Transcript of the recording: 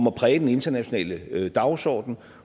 at præge den internationale dagsorden